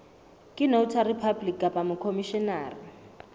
ke notary public kapa mokhomishenara